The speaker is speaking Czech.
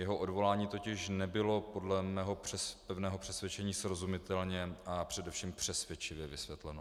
Jeho odvolání totiž nebylo podle mého pevného přesvědčení srozumitelně a především přesvědčivě vysvětleno.